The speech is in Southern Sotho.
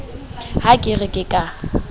ha ke re ke ka